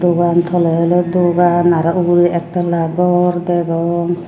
uban toley oley dogan araw ugurey ektalla gor degong.